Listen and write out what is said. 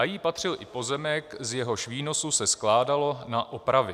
A jí patřil i pozemek, z jehož výnosu se skládalo na opravy.